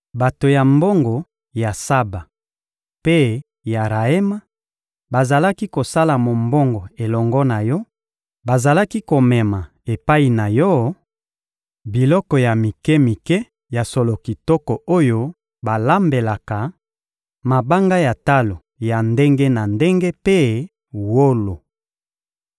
Bato ya mombongo ya Saba mpe ya Raema bazalaki kosala mombongo elongo na yo; bazalaki komema epai na yo biloko ya mike-mike ya solo kitoko oyo balambelaka, mabanga ya talo ya ndenge na ndenge mpe wolo.